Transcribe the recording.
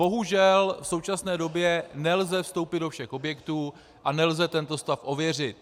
Bohužel v současné době nelze vstoupit do všech objektů a nelze tento stav ověřit.